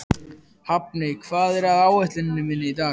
Hafni, hvað er á áætluninni minni í dag?